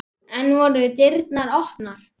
Enn voru dyrnar opnar.